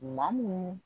Maa mun